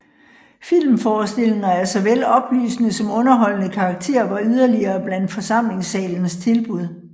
Filmforestillinger af såvel oplysende som underholdende karakter var yderligere blandt forsamlingssalens tilbud